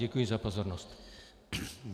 Děkuji za pozornost.